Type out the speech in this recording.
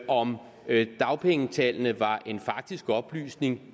om dagpengetallene var en faktisk oplysning